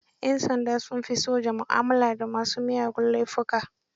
Yan sanda sun fi soja mu'amala da masu miyagun laifuka.